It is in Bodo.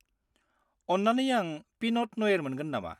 अन्नानै आं पिन'ट नयेर मोनगोन नामा?